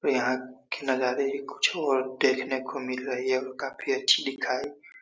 यहाँ के नजारे भी कुछ और देखने को मिल रहे हैं। काफी अच्छी दिखाई--